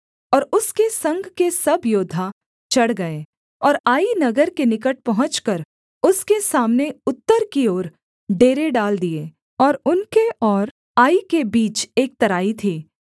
और उसके संग के सब योद्धा चढ़ गए और आई नगर के निकट पहुँचकर उसके सामने उत्तर की ओर डेरे डाल दिए और उनके और आई के बीच एक तराई थी